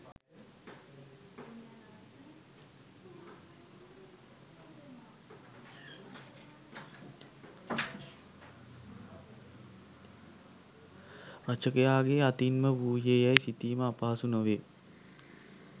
රචකයාගේ අතින් ම වූයේ යැයි සිතීම අපහසු නොවේ